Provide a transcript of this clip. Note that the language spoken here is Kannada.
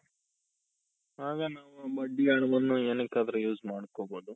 ಆಗ ನಾವು ಬಡ್ಡಿ ಹಣವನ್ನು ಏನಕ್ಕಾದ್ರು use ಮಾಡ್ಕೋಬಹುದು.